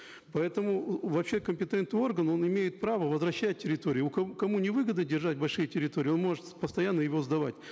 поэтому вообще компетентный орган он имеет право возвращать территории кому невыгодно держать большие территории он может постоянно его сдавать